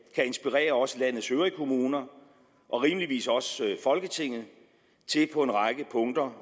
kan inspirere også landets øvrige kommuner og rimeligvis også folketinget til på en række punkter